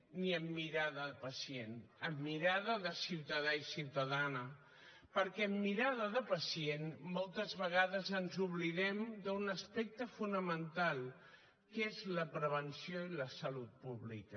ni amb mirada de pacient amb mirada de ciutadà i ciutadana perquè amb mirada de pacient moltes vegades ens oblidem d’un aspecte fonamental que és la prevenció i la salut pública